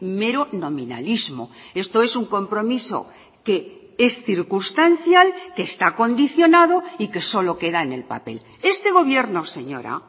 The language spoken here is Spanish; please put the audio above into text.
mero nominalismo esto es un compromiso que es circunstancial que está condicionado y que solo queda en el papel este gobierno señora